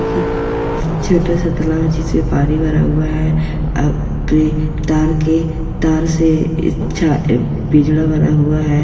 ये छोटा सा तालाब है जिसमें पानी भरा हुआ है अ ब ये तार के तार से इसका पिंजरा बना हुआ है।